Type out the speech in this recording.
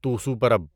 توسو پرب